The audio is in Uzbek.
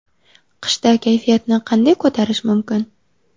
Qishda kayfiyatni qanday ko‘tarish mumkin?.